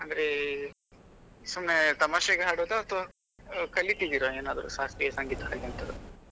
ಅಂದ್ರೆ ಸುಮ್ನೆ ತಮಾಷೆಗೆ ಹಾಡೋದಾ ಅಥವಾ ಕಲಿತಿದೀರಾ ಏನಾದ್ರೂ ಶಾಸ್ತ್ರೀಯ ಸಂಗೀತಾ ಹಾಗೆ ಎಂತಾದ್ರು ?